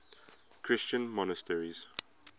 christian monasteries